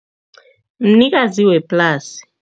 Mnikazi weplasi.